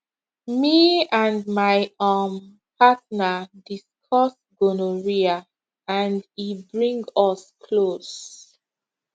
me and my um partner discuss gonorrhea and e bring us close